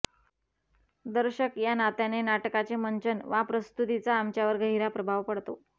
दर्शक या नात्याने नाटकाचे मंचन वा प्रस्तुतिचा आमच्यावर गहिरा प्रभाव पडतो